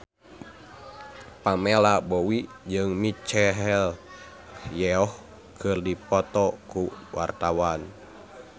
Pamela Bowie jeung Michelle Yeoh keur dipoto ku wartawan